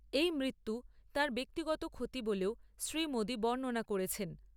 এই মৃত্যু তাঁর ব্যক্তিগত ক্ষতি বলেও শ্রী মোদী বর্ণনা করেছেন।